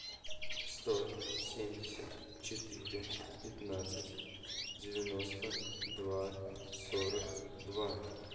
сто семьдесят четыре пятнадцать девяносто два сорок два